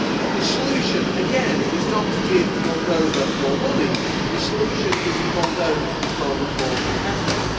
The solution, here again, is not to give Moldova more money the solution is for Moldova to become more competitive.